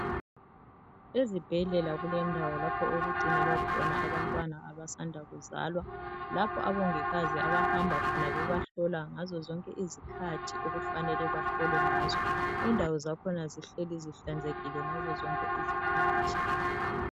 Ezibhedlela kulendawo lapho okugcinelwa khona abantwana abasanda kuzalwa. Lapho abongikazi abahamba khona bebahlola ngazo zonke izikhathi okufanele bahlolwe ngazo .Indawo zakhona zihlelii zihlanzekile ngazo zonke izikhathi.